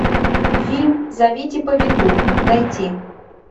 фильм зовите повитуху найти